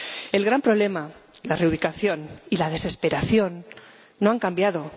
El gran problema −la reubicación y la desesperación− no ha cambiado.